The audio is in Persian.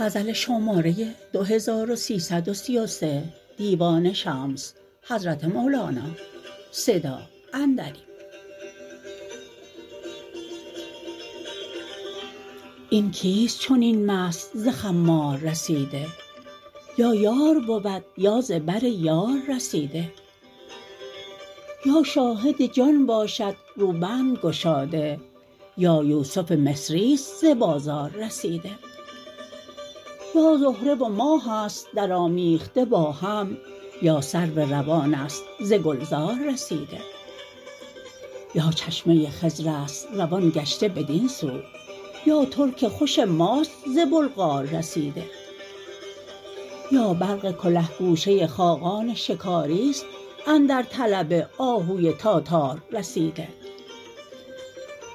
این کیست چنین مست ز خمار رسیده یا یار بود یا ز بر یار رسیده یا شاهد جان باشد روبند گشاده یا یوسف مصری است ز بازار رسیده یا زهره و ماه است درآمیخته با هم یا سرو روان است ز گلزار رسیده یا چشمه خضر است روان گشته بدین سو یا ترک خوش ماست ز بلغار رسیده یا برق کله گوشه خاقان شکاری است اندر طلب آهوی تاتار رسیده